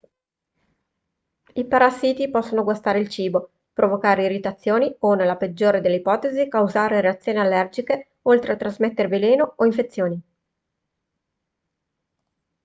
i parassiti possono guastare il cibo provocare irritazioni o nella peggiore delle ipotesi causare reazioni allergiche oltre a trasmettere veleno o infezioni